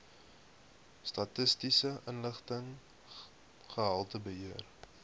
statistiese inligting gehaltebeheer